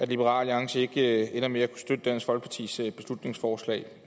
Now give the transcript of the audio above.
liberal alliance ikke ender med at kunne støtte dansk folkepartis beslutningsforslag